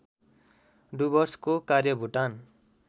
डुवर्सको कार्य भुटान